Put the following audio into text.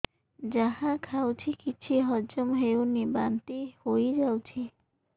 ଯାହା ଖାଉଛି କିଛି ହଜମ ହେଉନି ବାନ୍ତି ହୋଇଯାଉଛି